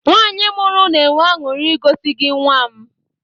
Nwanyi mụrụ na-enwe aṅụri igosi gị nwam